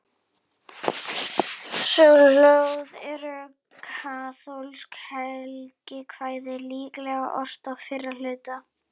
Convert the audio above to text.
Sólarljóð eru kaþólskt helgikvæði, líklega ort á fyrra hluta